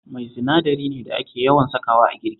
Mai sinadari ne da ake yawan sakawa a girki